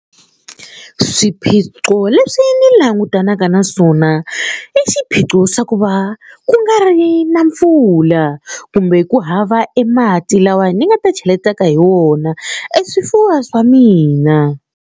Swiphiqo leswi ndzi langutanaka na swona i xiphiqo xa ku va ku nga ri na mpfula kumbe ku hava emati lawawani ni nga ta cheletaka hi wona eswifuwa swa mina.